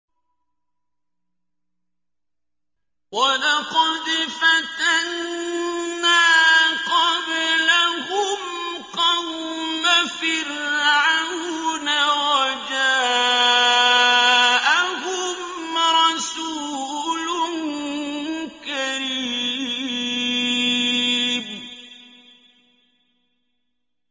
۞ وَلَقَدْ فَتَنَّا قَبْلَهُمْ قَوْمَ فِرْعَوْنَ وَجَاءَهُمْ رَسُولٌ كَرِيمٌ